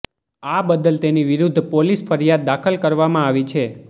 આ બદલ તેની વિરુદ્ધ પોલીસ ફરિયાદ દાખલ કરવામાં આવી છે